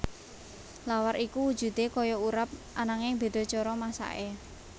Lawar iku wujudé kaya urap ananging béda cara masaké